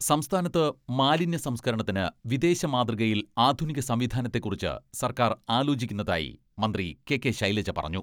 സംസ്ഥാനത്ത് മാലിന്യ സംസ്കരണത്തിന് വിദേശ മാതൃകയിൽ ആധുനിക സംവിധാനത്തെക്കുറിച്ച് സർക്കാർ ആലോചിക്കുന്നതായി മന്ത്രി കെ.കെ.ശൈലജ പറഞ്ഞു.